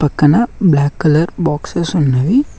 క్కన black colour boxes ఉన్నవి.